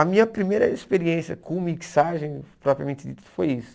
A minha primeira experiência com mixagem, propriamente dito, foi isso.